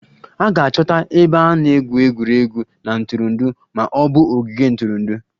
A ga-achọta ebe a na-egwu egwuregwu na ntụrụndụ ma ọ bụ ogige ntụrụndụ